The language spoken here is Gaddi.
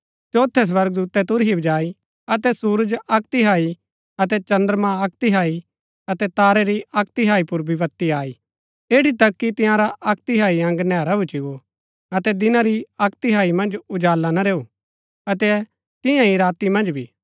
चौथै स्वर्गदूतै तुरही बजाई अतै सुरज अक्क तिहाई अतै चद्रमां अक्क तिहाई अतै तारै री अक्क तिहाई पुर विपत्ति आई ऐठी तक कि तंयारा अक्क तिहाई अंग नैहरा भूच्ची गो अतै दिना री अक्क तिहाई मन्ज उजाला ना रैऊ अतै तियां ही राती मन्ज भी